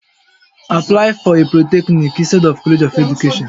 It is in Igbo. Apply for a Poluthecnic inctead of College of Education